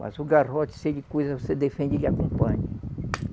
Mas o garrote, se ele coisa, você defende, ele acompanha.